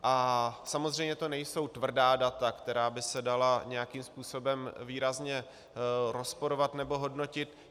A samozřejmě to nejsou tvrdá data, která by se dala nějakým způsobem výrazně rozporovat nebo hodnotit.